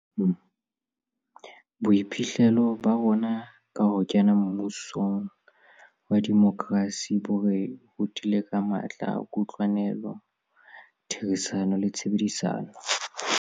Boiphihlelo ba rona ka ho kena mmusong wa demokrasi bo re rutile ka matla a kutlwelano, ditherisano le tshebedisano.